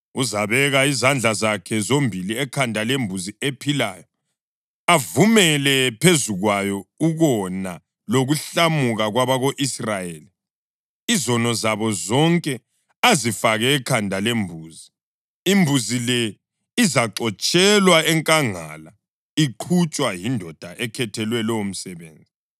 Uzabeka izandla zakhe zombili ekhanda lembuzi ephilayo, avumele phezu kwayo ukona lokuhlamuka kwabako-Israyeli, izono zabo zonke azifake ekhanda lembuzi. Imbuzi le izaxotshelwa enkangala iqhutshwa yindoda ekhethelwe lowomsebenzi.